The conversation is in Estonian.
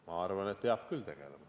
Mina arvan, et peab küll tegelema.